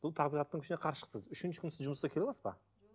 бұл табиғаттың күшіне қарсы шықтыңыз үшінші күні сіз жұмысқа келе аласыз ба